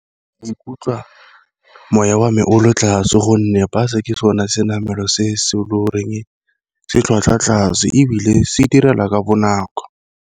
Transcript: Ikutlwa moya wa me o lo tlase gonne bue-e ke sone se namelwa se se se tlhwatlhwa tlase, ebile se direla ka bonako.